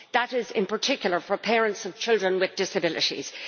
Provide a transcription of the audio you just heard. that is, in particular, for parents of children with disabilities.